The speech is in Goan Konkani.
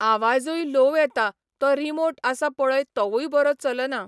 आवाजूय लोव येता तो रिमोट आसा पळय तोवूय बरो चलना.